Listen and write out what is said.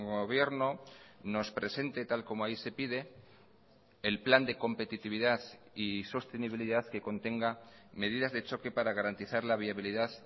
gobierno nos presente tal como ahí se pide el plan de competitividad y sostenibilidad que contenga medidas de choque para garantizar la viabilidad